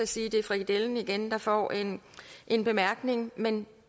sige at det er frikadellen igen der får en en bemærkning men